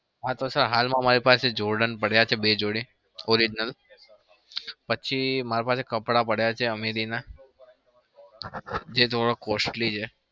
હા તો sir માં મારી પાસે jordan પડ્યા છે બે જોડી orignal પછી માર પાસે કપડા પડ્યા છે. ameri ના જે થોડા costly છે.